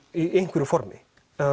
í einhverju formi